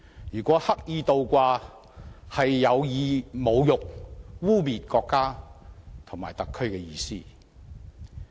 如果刻意倒掛，是有意侮辱、污衊國家和特區的意思。